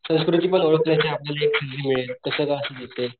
संस्कृती पण ओळखता येते आपल्याला एक तस पण असू शकते.